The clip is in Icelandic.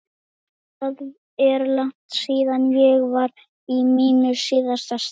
En það er langt síðan ég var í mínu síðasta starfi.